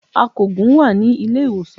Akògùn wà ní Ilé-ìwòsàn